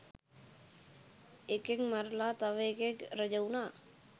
එකෙක් මරලා තව එකෙක් රජවුනා